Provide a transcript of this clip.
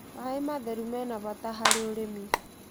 Maĩ matherũ mĩnabata harĩ ũrĩmĩ